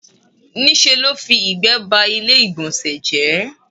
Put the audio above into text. Ní ṣe ló fi ìgbẹ́ ba ilé ìgbọ̀nsẹ̀ jẹ́.